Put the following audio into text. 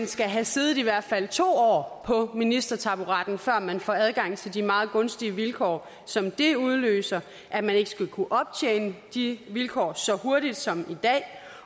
skal have siddet i hvert fald to år på ministertaburetten før man får adgang til de meget gunstige vilkår som det udløser at man ikke skal kunne optjene de vilkår så hurtigt som i dag